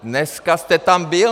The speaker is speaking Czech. Dneska jste tam byl.